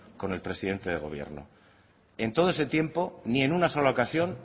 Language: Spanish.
con el presidente del gobierno en todo ese tiempo ni en una sola ocasión